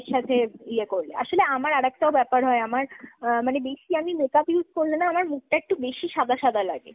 সাথে ইয়ে করলে। আসলে আমার আর একটাও ব্যাপার হয়, আমার আ মানে বেশি আমি makeup use করলে না আমার মুখটা একটু বেশি সাদা সাদা লাগে।